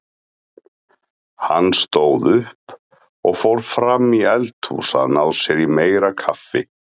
Hún stóð upp og fór fram í eldhús að ná sér í meira kaffi.